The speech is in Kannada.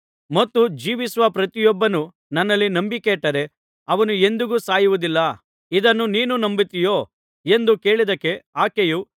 ಮತ್ತು ಜೀವಿಸುವ ಪ್ರತಿಯೊಬ್ಬನು ನನ್ನಲ್ಲಿ ನಂಬಿಕೆಯಿಟ್ಟರೆ ಅವನು ಎಂದಿಗೂ ಸಾಯುವುದಿಲ್ಲ ಇದನ್ನು ನೀನು ನಂಬುತ್ತೀಯೋ ಎಂದು ಕೇಳಿದಕ್ಕೆ